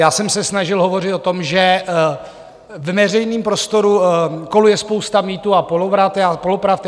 Já jsem se snažil hovořit o tom, že ve veřejném prostoru koluje spousta mýtů a polopravd.